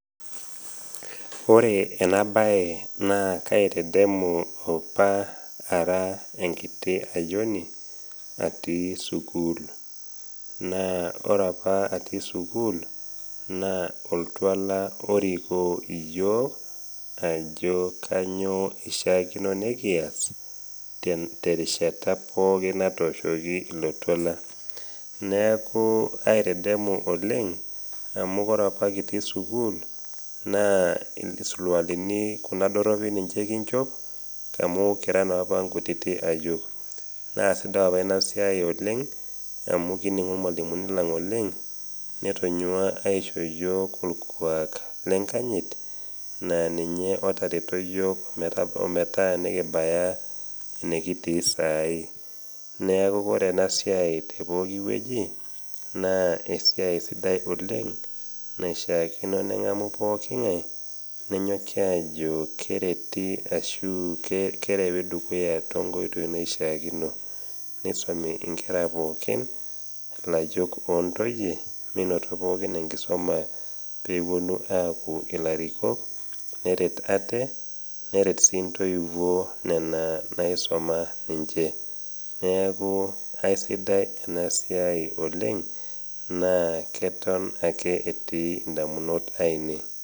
Ore ena bae naa aitedemu opa ara enkiti ayoni, atii sukuul. Naa ore apa atii sukuul, naa oltuala orikoo iyook ajo kanyoo eishaakino nekiash, terishata pooki natooshoki ilo tuala. Neaku aitedemu oleng, nopakata atii sukuul naa isulualini kuna doropi kinchop amu kira naa opa inkutiti ayiok. Naa sidai opa ina siai oleng amu kining'u ilmwalimuni lang oleng, netonyua aisho iyook olkuak le nkanyit naa ninye otareto yook omatabau enekitii saai. Neaku ore ena siai tepokiwueji, naa esiai sidai oleng, naishaakino neng'amu pooki ng'ai nenyoki ajo kereti ashu kerewi dukuya tenkoitoi naishaakino. Neisomi inkera pookin, ilayiok o ntoyie meinoto pookin enkisoma pewuonu aaku ilarikok, neret ate, neret sii intoiwuo nena naisoma ninche. Neaku aisidai ena siai oleng, naa keton ake etii indamunot aine.